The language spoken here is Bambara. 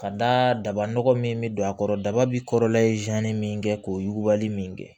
Ka d'a kan daba nɔgɔ min bɛ don a kɔrɔ daba bi kɔrɔlen min kɛ k'o yugubali min kɛ